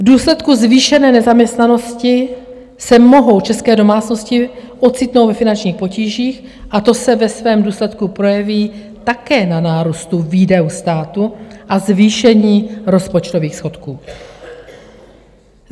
V důsledku zvýšené nezaměstnanosti se mohou české domácnosti ocitnout ve finančních potížích a to se ve svém důsledku projeví také na nárůstu výdajů státu a zvýšení rozpočtových schodků.